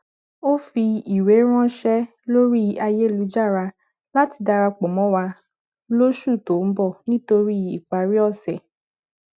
ó fi ìwé ránṣẹ lórí ayélujára láti darapọ mọ wa lóṣù tó ń bọ nítorí ìparí ọsẹ